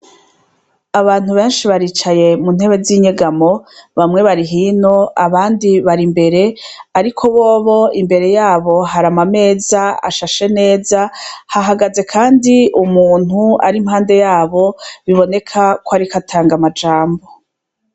Abantu benshi baricaye mu ntebe zinyegamo bamwe bari hino abandi bari imbere ariko bobo imbere yabo hari ama meza ashashe neza hahagaze kandi umuntu ari impande yabo biboneka ko ariko atanga amajambo.